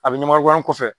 A bɛ ɲamaku an kɔfɛ